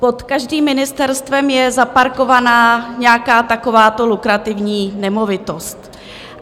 Pod každým ministerstvem je zaparkovaná nějaká takováto lukrativní nemovitost.